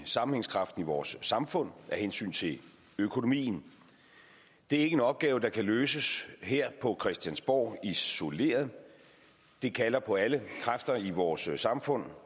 sammenhængskraften i vores samfund og af hensyn til økonomien det er ikke en opgave der kan løses her på christiansborg isoleret men det kalder på alle kræfter i vores samfund